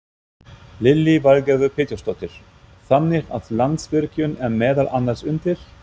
Lillý Valgerður Pétursdóttir: Þannig að Landsvirkjun er meðal annars undir?